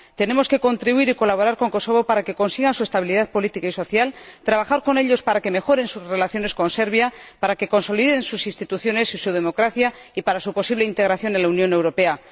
Tenemos que contribuir y colaborar con Kosovo para que consiga su estabilidad política y social, y trabajar con ellos para que mejoren sus relaciones con Serbia, para que consoliden sus instituciones y su democracia y para su posible integración en la Unión Europea.